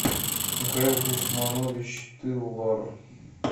михаил гусманович тылвар